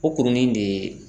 O kurunin de